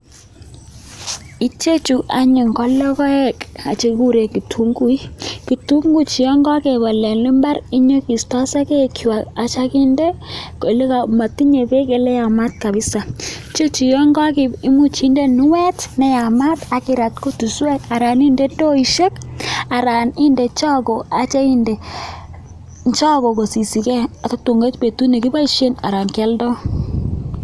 Ichechu anyun ko logoek chekikuren kitunguik kitunguik chuton yangagebal en imbar Inyo kistoi sagek chwak Asa kinde yele matinye bek ele yamat kabisa chechu imuch kendee kinuet neyamat akirat kutuswek anan indeed indoishek anan inde chago kosisigei tatun koit betut nekibaishen kialdoo